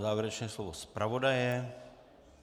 Závěrečné slovo zpravodaje.